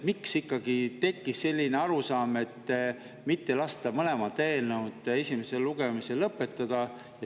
Miks ikkagi tekkis selline, et ei lasta mõlema eelnõu esimest lugemist lõpetada?